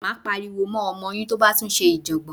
Máa pariwo mọ́ ọmọ yín tó bá tún ṣe ìjọ̀gbọ̀n.